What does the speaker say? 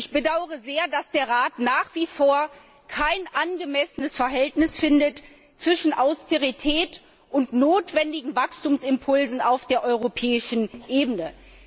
Ich bedaure sehr, dass der Rat nach wie vor kein angemessenes Verhältnis findet zwischen Austerität und notwendigen Wachstumsimpulsen auf der europäischen Ebene.